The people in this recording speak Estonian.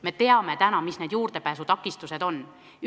Me teame, mis need juurdepääsu takistused on.